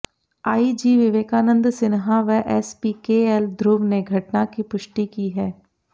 IG Vivekanand Sinha व SP K L Dhruv ने घटना की पुष्टि की है